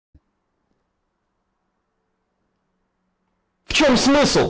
в чём смысл